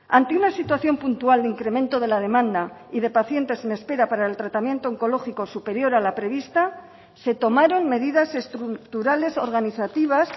ante una situación puntual de incremento de la demanda y de pacientes en espera para el tratamiento oncológico superior a la prevista se tomaron medidas estructurales organizativas